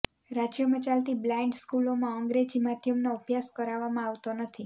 રાજ્યમાં ચાલતી બ્લાઇન્ડ સ્કુલોમા અંગ્રેજી માધ્યમનો અભ્યાસ કરાવવામાં આવતો નથી